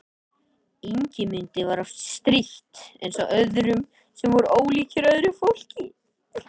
Ingimundi var oft strítt eins og öðrum sem voru ólíkir öðru fólki.